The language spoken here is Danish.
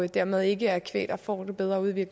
dermed ikke er kvæg der får det bedre ude i